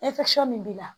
min b'i la